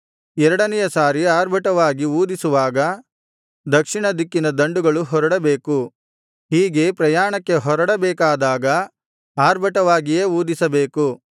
ಎರಡನೆಯ ಸಾರಿ ಆರ್ಭಟವಾಗಿ ಊದಿಸುವಾಗ ದಕ್ಷಿಣ ದಿಕ್ಕಿನ ದಂಡುಗಳು ಹೊರಡಬೇಕು ಹೀಗೆ ಪ್ರಯಾಣಕ್ಕೆ ಹೊರಡಬೇಕಾದಾಗ ಆರ್ಭಟವಾಗಿಯೇ ಊದಿಸಬೇಕು